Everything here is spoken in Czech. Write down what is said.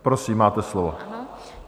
Prosím, máte slovo.